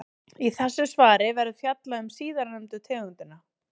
Í þessu svari verður fjallað um síðarnefndu tegundina.